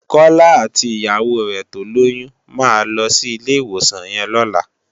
Kola àtí iyàwó rè tólóyùn má lòsí ilé iwósàn yèn lòlá